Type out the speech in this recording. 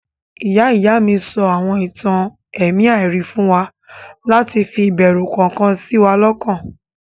Ìyá-ìy mi sọ àwọn ìtàn ẹ̀mí àìrí fún wa láti fi ìbẹrù kọ̀ọ̀kan sí wa lọ́kàn.